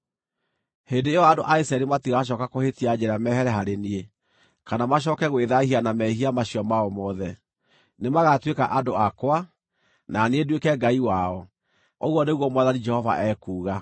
Hĩndĩ ĩyo andũ a Isiraeli matigacooka kũhĩtia njĩra mehere harĩ niĩ, kana macooke gwĩthaahia na mehia macio mao mothe. Nĩmagatuĩka andũ akwa, na niĩ nduĩke Ngai wao, ũguo nĩguo Mwathani Jehova ekuuga.’ ”